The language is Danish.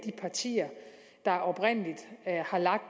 partier der oprindelig lagde